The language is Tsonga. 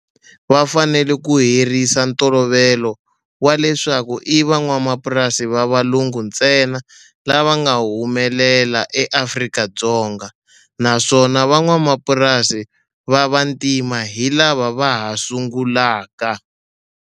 Va fanele ku herisa ntolovelo wa leswaku i van'wamapurasi va valungu ntsena lava nga humelela eAfrika-Dzonga, naswona van'wamapurasi va vantima hi lava va ha sungulaka.